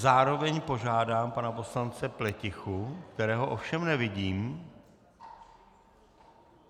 Zároveň požádám pana poslance Pletichu, kterého ovšem nevidím.